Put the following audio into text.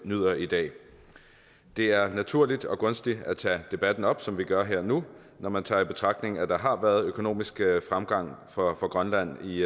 nyder i dag det er naturligt og gunstigt at tage debatten op som vi gør her nu når man tager i betragtning at der har været økonomisk fremgang for grønland i